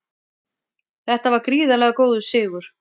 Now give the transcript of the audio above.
Þetta var gríðarlega góður sigur